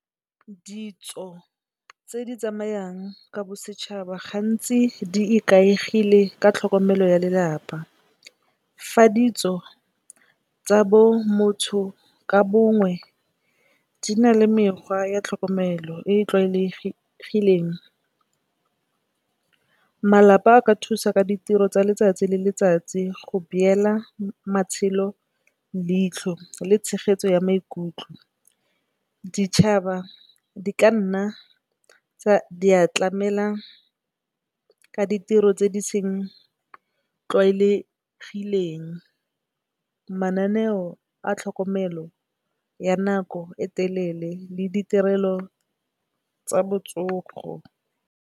Ditso tse di tsamayang ka bosetšhaba gantsi di ikaegile ka tlhokomelo ya lelapa fa ditso tsa bo motho ka bongwe di na le mekgwa ya tlhokomelo e e tlwaelegileng. Malapa a ka thusa ka ditiro tsa letsatsi le letsatsi go beela matshelo leitlho le tshegetso ya maikutlo, ditšhaba di ka nna tsa di a tlamela ka ditiro tse di sa tlwaelegang, mananeo a tlhokomelo ya nako e telele le ditirelo tsa botsogo.